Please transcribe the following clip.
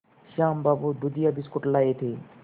श्याम बाबू दूधिया बिस्कुट लाए थे